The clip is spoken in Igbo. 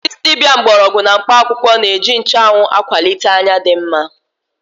Ndị dibia mgbọrọgwụ na mkpụ akwụkwọ na-eji nchụanwụ akwalite anya dị mma.